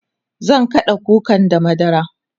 zan kaɗa kukan da madara